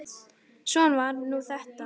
Svona var nú það.